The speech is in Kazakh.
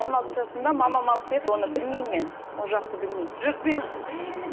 он алты жасымда мамам алып берді оны білмеймін мен ол жақты білмеймін жоқ мен